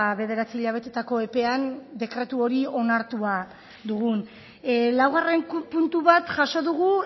bederatzi hilabetetako epean dekretu hori onartua dugun laugarren puntu bat jaso dugu